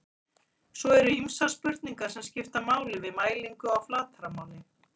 svo eru ýmsar spurningar sem skipta máli við mælingu á flatarmáli